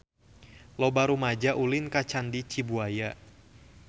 Loba rumaja ulin ka Candi Cibuaya